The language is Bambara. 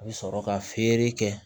A bɛ sɔrɔ ka feere kɛ